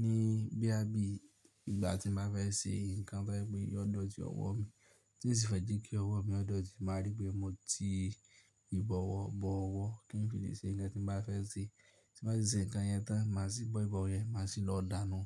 ní bí a bí ìgbà tí ma fẹ́ ṣe nǹkan tò é pé yọ̀dọ́ọ̀tí ọwọ́ mi, tí n sì fẹ́ jẹ́ kí ọwọ́ mi ọ̀dọ́ọ̀tí, màá rí pé mo ti ìbọwọ́ bọ ọwọ́, kí n fi lè ṣe nǹkan tí n bà fẹ́ ṣe. Tí n bá tì ṣe nǹkan yẹn tán, màá sì bọ ìbọwọ́ yẹn, màá sì lọ dánú.